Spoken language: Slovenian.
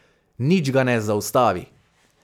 Nič ga ne zaustavi.